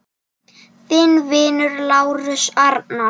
Þinn vinur, Lárus Arnar.